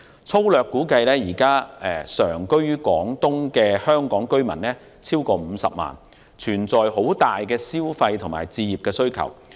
粗略估計，現時常居於廣東的香港居民超過50萬人，對消費和置業的需求龐大。